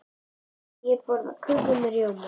Ég borða köku með rjóma.